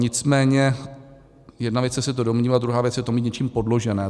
Nicméně jedna věc je se to domnívat, druhá věc je to mít něčím podložené.